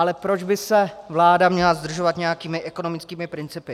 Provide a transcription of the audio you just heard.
Ale proč by se vláda měla zdržovat nějakými ekonomickými principy?